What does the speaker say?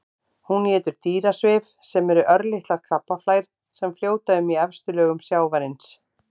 Hún étur dýrasvif sem eru örlitlar krabbaflær sem fljóta um í efstu lögum sjávarins.